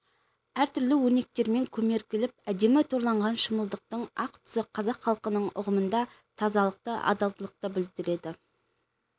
әртүрлі өрнектермен көмкеріліп әдемі торланған шымылдықтың ақ түсі қазақ халқының ұғымында тазалықты адалдықты білдіреді